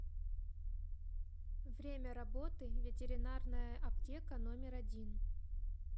время работы ветеринарная аптека номер один